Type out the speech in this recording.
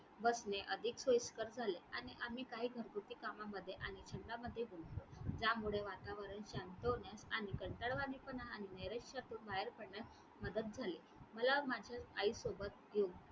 बसणे अधिक सोयीस्कर झाले आणि आम्ही काही घरगुती कामामध्ये आणि जीवनामध्ये गुंतलो त्यामुळे वातावरण शांत होण्यास आणि कंटाळवाणेपणा आणि नैराश्यातून बाहेर पडण्यास मदत झाली. मला माझ्या आईसोबत घेऊन